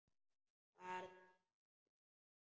Var þetta ekki Stína?